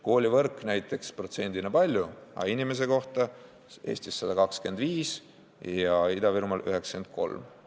Koolivõrk sai protsendina palju, aga inimese kohta saadi Eestis 125 ja Ida-Virumaal 93 eurot.